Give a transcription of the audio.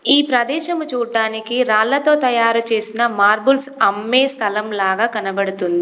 ఈ ప్రదేశము చూడ్డానికి రాళ్ళతో తయారు చేసిన మార్బుల్స్ అమ్మే స్థలం లాగా కనబడుతుంది.